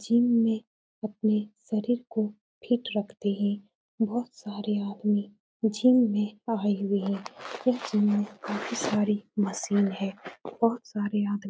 gym में अपने शरीर को फिट रखती है बोहोत सारे आदमी जिम में आये हुए है काफी सारी मशीन है बोहोत सारे आदमी --